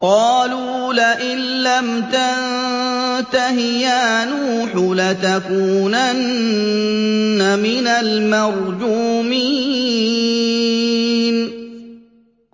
قَالُوا لَئِن لَّمْ تَنتَهِ يَا نُوحُ لَتَكُونَنَّ مِنَ الْمَرْجُومِينَ